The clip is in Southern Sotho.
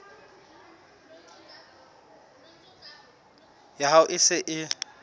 ya hao e se e